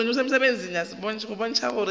go bontšha gore moya o